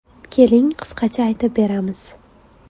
Keling qisqacha aytib beramiz.